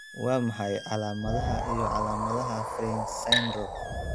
Waa maxay calaamadaha iyo calaamadaha Fryns syndrome?